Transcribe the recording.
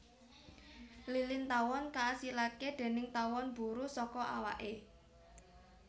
Lilin tawon kaasilake déning tawon buruh saka awake